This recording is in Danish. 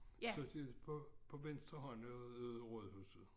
Så det på venstre hånd af Rådhuset